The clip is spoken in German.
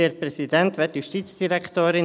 Kommissionssprecher der JuKo.